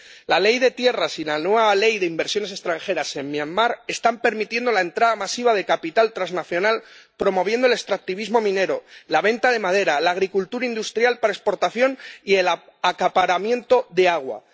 La ley de tierras y la nueva ley de inversiones extranjeras en Myanmar Birmania están permitiendo la entrada masiva de capital transnacional, promoviendo el extractivismo minero, la venta de madera, la agricultura industrial para exportación y el acaparamiento de agua.